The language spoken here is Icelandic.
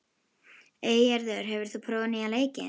Eygerður, hefur þú prófað nýja leikinn?